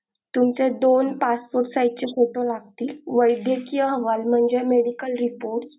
तुमच्या दोन passport size चे photo लागतील वैद्यकीय अहवाल म्हणजे medical report